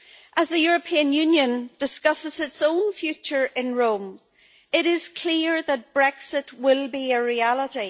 As the European Union discusses its own future in Rome, it is clear that Brexit will be a reality.